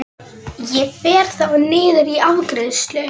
Ég fer þá niður í afgreiðslu.